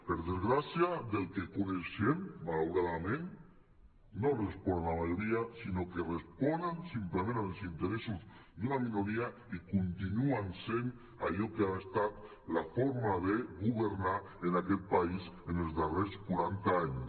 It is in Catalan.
per desgràcia pel que en coneixem malauradament no responen a la majoria sinó que responen simplement als interessos d’una minoria i continuen sent allò que ha estat la forma de governar en aquest país els darrers quaranta anys